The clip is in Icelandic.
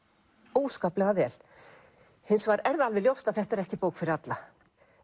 óskaplega vel hins vegar er það alveg ljóst að þetta er ekki bók fyrir alla